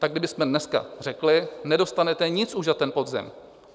Tak kdybychom dneska řekli: Nedostanete už nic za ten podzim.